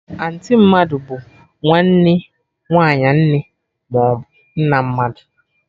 Anti mmadụ bụ nwanne nwaanyị nne maọbụ nna mmadụ